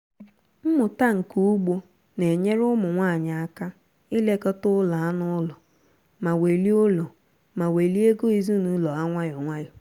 mmụta nka ugbo na-enyere ụmụ nwanyị aka ilekọta ụlọ anụ ụlọ ma welie ụlọ ma welie ego ezinụlọ ha nwayọọ nwayọọ